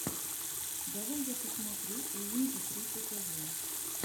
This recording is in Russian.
давай я посмотрю уинди тридцать один